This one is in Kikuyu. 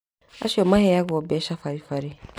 Acio maheagwo mbeca baribari